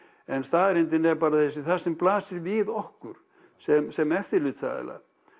en staðreyndin er bara þessi það sem blasir við okkur sem sem eftirlitsaðila